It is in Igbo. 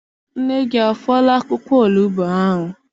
Nne gị afọọla akwụkwọ onugbu ahụ?